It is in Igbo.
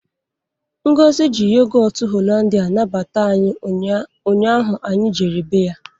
Ngọzi ji Yogotụ Holandịa nabata anyị ụnyaahụ anyị jere bé ya.